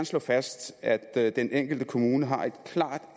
slå fast at den enkelte kommune har et klart